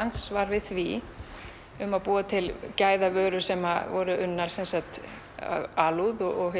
andsvar við því um að búa til gæðavörur sem voru unnar af alúð og